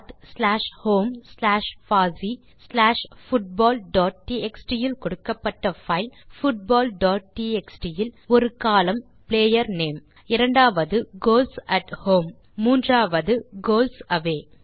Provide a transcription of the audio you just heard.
பத் slash home slash பாசி slash football dot TXT இல் கொடுக்கப்பட்ட பைல் பூட்பால் டாட் டிஎக்ஸ்டி இல் ஒரு கோலம்ன் பிளேயர் நேம் இரண்டாவது கோல்ஸ் அட் ஹோம் மற்றும் மூன்றாவது கோல்ஸ் அவே